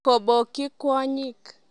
Kobokyi kwonyik